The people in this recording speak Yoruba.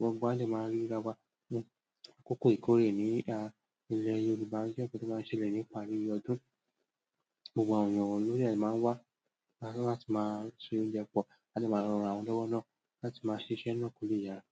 Nigbawo ni a máa ń ríi dápa, àkókò ìkórè ní ilẹ̀ Yorùbá jẹ́ nǹkan tó máa ń ṣẹlẹ̀ ní ìparí ọdún. Gbogbo àwọn èèyàn ló dẹ̀ máa ń wá, láti máa ṣe oúnjẹ pọ̀, láti máa ránra wọn lọ́wọ́ náà, láti máa ṣiṣẹ́ náà kò lè yára.